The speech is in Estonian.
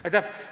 Aitäh!